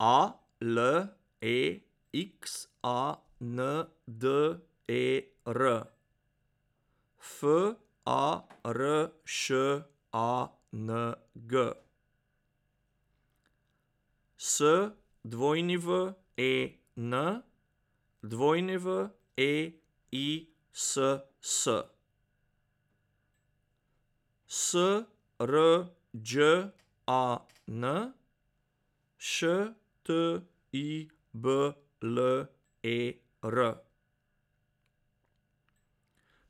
A L E X A N D E R, F A R Š A N G; S W E N, W E I S S; S R Đ A N, Š T I B L E R;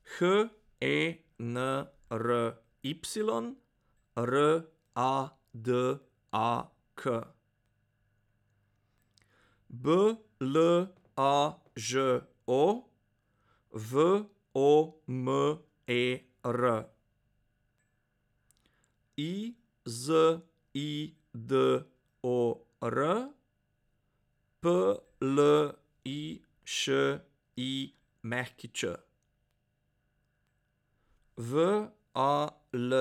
H E N R Y, R A D A K; B L A Ž O, V O M E R; I Z I D O R, P L I Š I Ć; V A L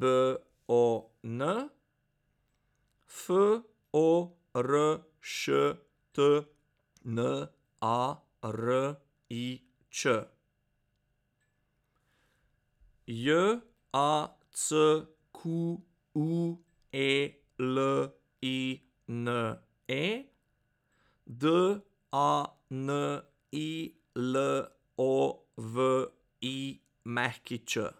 B O N, F O R Š T N A R I Č; J A C Q U E L I N E, D A N I L O V I Ć.